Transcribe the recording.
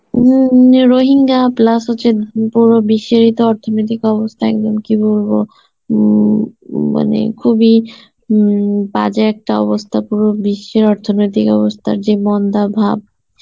উম যে Rohingya plus হচ্ছে পুরো বিশ্বে যেহুতু অর্থনৈতিক অবস্থা একদম কি বলবো উম মানে খুব ই উম বাজে একটা অবস্থা পুরো বিশ্বের অর্থনৈতিক অবস্থার যে মন্দাভাব